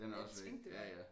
Den er også væk ja ja